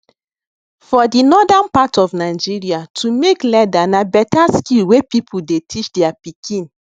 for the northern part of nigeria how to make leather na better skill wey people dey teach their pikin